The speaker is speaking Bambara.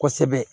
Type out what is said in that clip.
Kosɛbɛ